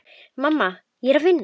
Mamma, ég er að vinna.